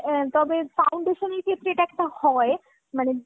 অ্যাঁ তবে foundation এর ক্ষেত্রে এটা একটা হয়। মানে